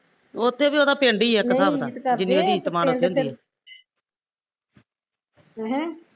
ਉੱਥੇ ਵੀ ਉਹਦਾ ਪਿੰਡ ਈ ਐ ਇੱਕ ਹਿਸਾਬ ਦਾ ਜਿੰਨੀ ਉਹਦੀ ਇੱਜ਼ਤ ਮਾਨ ਉੱਥੇ ਹੁੰਦੀ ਐ ਅਹ